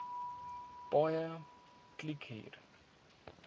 paaie kliek hier